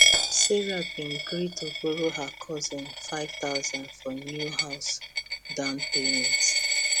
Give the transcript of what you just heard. sarah been gree to borrow her cousin 5000 for new house down payment